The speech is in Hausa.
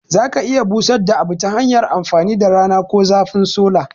Za a iya busadda abu tahanyar amfani da rana ko zafin sola